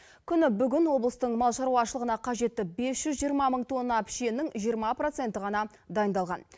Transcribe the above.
күні бүгін облыстың мал шаруашылығына қажетті бес жүз жиырма мың тонна пішеннің жиырма проценті ғана дайындалған